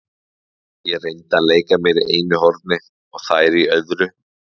Ég reyndi að leika mér í einu horni og þær í öðru.